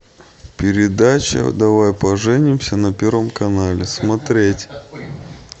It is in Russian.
передача давай поженимся на первом канале смотреть